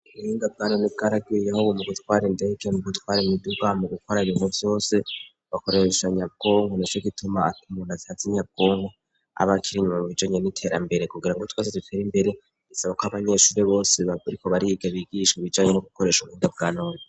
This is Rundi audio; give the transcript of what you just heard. Ubuhinga bwanone bwaragwiriye nk'ubu mu gutwara indege no mu gutwara imiduga, mu gukora ibintu vyose bakoresha nyabwonko, nico gituma ata muntu azi nyabwonko aba akiri inyuma mu bijanye n'iterambere, kugira ngo twese dutere imbere bisaba ko abanyeshuri bose bariko bariga bigishwa ibijanye no gukoresha ubuhinga bwanone.